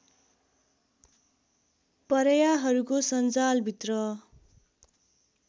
परयाहरूको संजालभित्र